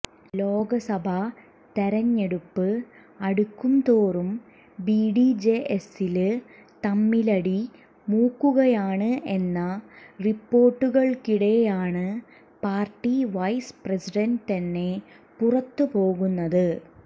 ലോക്സഭാ തെരഞ്ഞെടുപ്പ് അടുക്കുംതോറും ബിഡിജെഎസില് തമ്മിലടി മൂക്കുകയാണ് എന്ന റിപ്പോര്ട്ടുകള്ക്കിടെയാണ് പാര്ട്ടി വൈസ് പ്രസിഡന്റ് തന്നെ പുറത്തു പോകുന്നത്